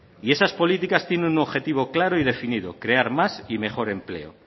esas políticas tienen un objetivo claro y definido crear más y mejor empleo